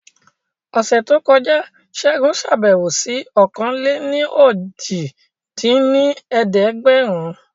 Ọ̀sẹ̀ tó kọjá Segun ṣàbẹ̀wò sí ọ̀kan-lé-ní-ojì dín ní ẹ̀ẹ́dẹ́gbẹ́rún